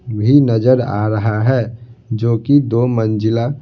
भी नजर आ रहा है जो कि दो मंजिला--